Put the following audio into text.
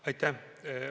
Aitäh!